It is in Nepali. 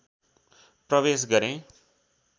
प्रवेश गरेँ